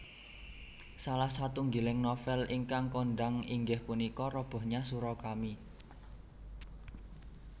Salah satunggiling novel ingkang kondhang inggih punika Robohnya Surau Kami